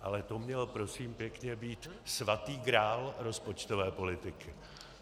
Ale to měl prosím pěkně být svatý grál rozpočtové politiky.